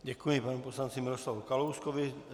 Děkuji panu poslanci Miroslavu Kalouskovi.